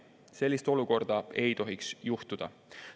Sellist olukorda ei tohiks juhtuda.